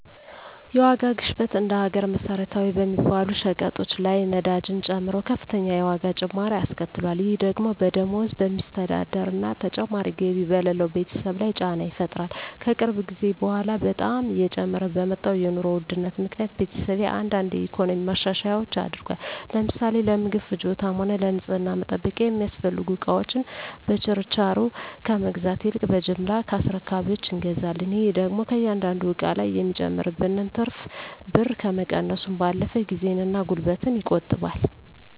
የዋጋ ግሽበት እንደ ሀገር መሰረታዊ በሚባሉ ሸቀጦች ላይ ነዳጅን ጨምሮ ከፍተኛ የዋጋ ጭማሪ አስከትሏል። ይህ ደግሞ በደሞዝ በሚስተዳደር እና ተጨማሪ ገቢ በሌለው ቤተሰብ ላይ ጫና ይፈጥራል። ከቅርብ ጊዜ በኃላ በጣም እየጨመረ በመጣው የኑሮ ውድነት ምክኒያት ቤተሰቤ አንዳንድ የኢኮኖሚ ማሻሻያዎች አድርጓል። ለምሳሌ ለምግብ ፍጆታም ሆነ ለንፅህና መጠበቂያ የሚያስፈልጉ እቃወችን በችርቻሮ ከመግዛት ይልቅ በጅምላ ከአስረካቢወች እንገዛለን። ይህ ደግሞ ከእያንዳንዱ እቃ ላይ የሚጨመርብንን ትርፍ ብር ከመቀነሱም ባለፈ ጊዜን እና ጉልበትን ይቆጥባል።